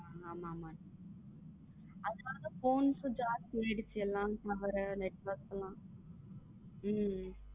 ஆமா ஆமா phone charge கும் எல்லா network லாம்.